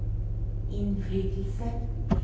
innflytelse